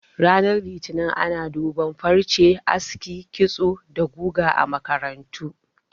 Ranar Litinin ana duban farce, aski, kitso da guga a makarantu